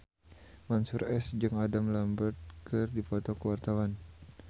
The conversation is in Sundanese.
Mansyur S jeung Adam Lambert keur dipoto ku wartawan